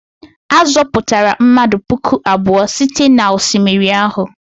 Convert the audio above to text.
A zọpụtara mmadụ puku abụọ site n'osimiri ahụ?